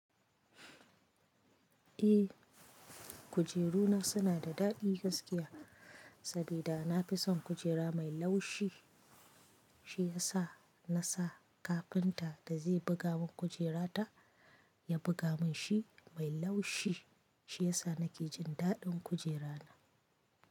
Eh, kujeru na suna da daɗi gaskiya sabida na fi son kujera mai laushi. Shi ya sa na sa kafinta da zai buga mun kujera ta, ya buga mun shi mai laushi. Shi ya sa na ke jin daɗin kujera na.